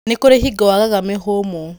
Nĩ kũrĩ hingo wagaga mĩhũmũ.